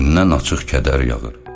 Üz-gözündən açıq kədər yağır.